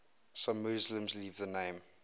some muslims leave the name